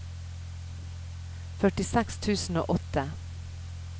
førtiseks tusen og åtte